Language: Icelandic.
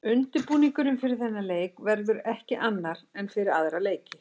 Undirbúningurinn fyrir þennan leik verður ekki annar en fyrir aðra leiki.